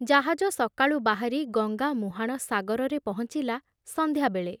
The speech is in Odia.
ଜାହାଜ ସକାଳୁ ବାହାରି ଗଙ୍ଗାମୁହାଣ ସାଗରରେ ପହଞ୍ଚିଲା ସନ୍ଧ୍ୟାବେଳେ।